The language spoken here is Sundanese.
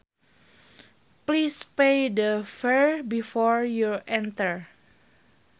Please pay the fare before you enter